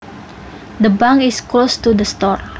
The bank is close to the store